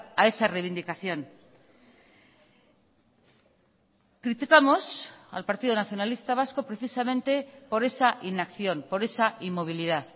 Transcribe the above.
a esa reivindicación criticamos al partido nacionalista vasco precisamente por esa inacción por esa inmovilidad